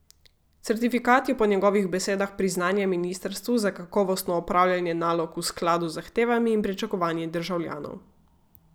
Certifikat je po njegovih besedah priznanje ministrstvu za kakovostno opravljanje nalog v skladu z zahtevami in pričakovanji državljanov.